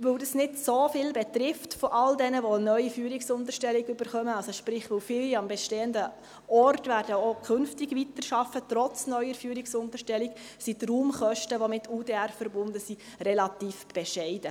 Weil dies von all jenen, die eine neue Führungsunterstellung erhalten, nicht so viele betrifft – sprich, weil viele trotz neuer Führungsunterstellung auch künftig am bestehenden Ort weiterarbeiten werden –, sind die Raumkosten, die mit UDR verbunden sind, relativ bescheiden.